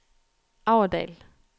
Aurdal